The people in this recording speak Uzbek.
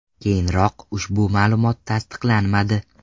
Keyinroq ushbu ma’lumot tasdiqlanmadi.